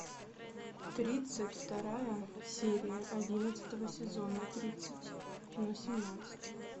тридцать вторая серия одиннадцатого сезона тридцатьна семнадцать